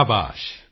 ਸ਼ਾਬਾਸ਼